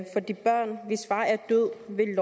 vi